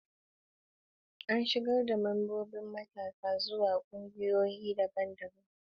An shigar da membobin matasa zuwa ƙungiyoyi daban-daban a ƙarƙashin tsarin shekaru.